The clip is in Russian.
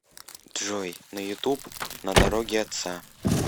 джой на ютуб на дороге отца